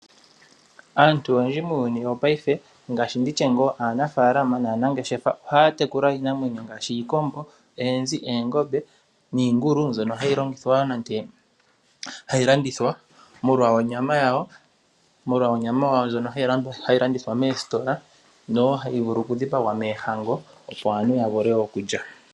Aantu oyendji muuyuni wongaashngeyi . Ngaashi aanafaalama naanangeshefa ohaya tekula iinamwenyo ngaashi iikombo, oonzi, iingulu mbyono hayi landithwa moositola molwa onyama yawo nosho woo okutselwa moohango.